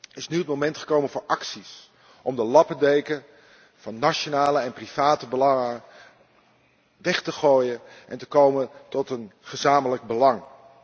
is het moment gekomen voor acties om de lappendeken van nationale en private belangen weg te gooien en te komen tot een gezamenlijk belang.